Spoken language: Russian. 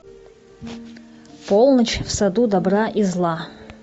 полночь в саду добра и зла